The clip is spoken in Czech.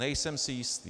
Nejsem si jistý.